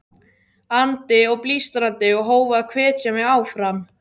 andi og blístrandi, og hófu að hvetja mig áfram.